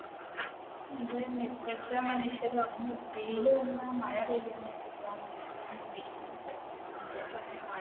അത് തന്നെ ഇപ്പഴത്തെ മനുഷ്യർ